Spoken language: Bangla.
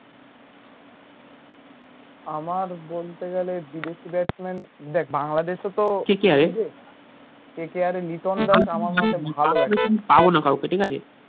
আমার বলতে গেলে বিদেশি batsman দেখ বাংলাদেশে তো KKR এর লিটন দাস